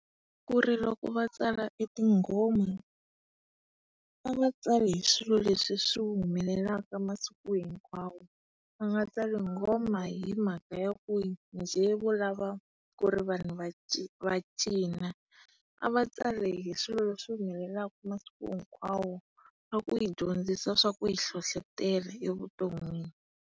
Ku loku va tsala e tinghoma, a va tsali hi swilo leswi swi humelelaka masiku hinkwawo, va nga tsali nghoma hi mhaka yaku njhe vo lava ku ri vanhu va va cina. A va tsali hi swilo leswi humelelaka masiku hinkwawo na ku hi dyondzisa swaku hi hlohlotela evuton'wini.